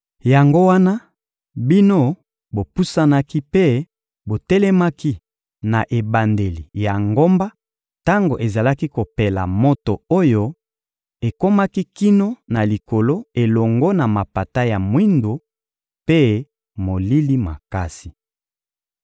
Yango wana, bino bopusanaki mpe botelemaki na ebandeli ya ngomba tango ezalaki kopela moto oyo ekomaki kino na likolo elongo na mapata ya mwindo mpe molili makasi.